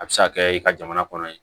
A bɛ se ka kɛ i ka jamana kɔnɔ ye